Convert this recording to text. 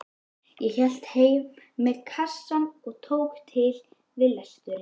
Ég hélt heim með kassann og tók til við lesturinn.